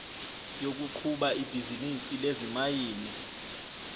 yokuqhuba ibhizinisi lezimayini